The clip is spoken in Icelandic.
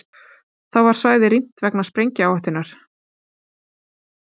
Þá var svæðið rýmt vegna sprengihættunnar